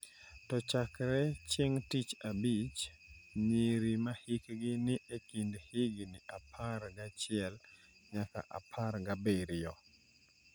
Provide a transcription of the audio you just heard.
To chakre chieng’ tich abich, nyiri ma hikgi ni e kind higni apar gachiel nyaka apar gabiriyo,